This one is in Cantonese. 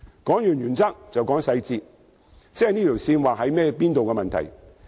談完原則，便談細節，即界線的定位問題。